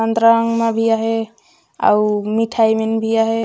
संतरा अंगना भी आहे अऊ मिठई मन भी आहे।